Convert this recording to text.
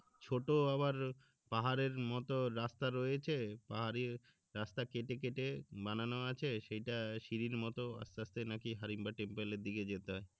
ছোট আবার পাহাড়ের মতো রাস্তা রয়েছে পাহাড়ি রাস্তা কেটে কেটে বানানো আছে সেইটা সিড়ির মতো আস্তে আস্তে নাকি হিড়িম্বা টেম্পেল এর দিকে যেতে হয়